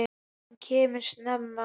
Hann kemur snemma.